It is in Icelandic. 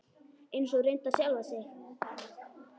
Eins og reyndar sjálfa sig.